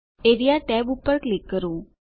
area tab પર click કરો